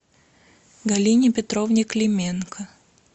галине петровне клименко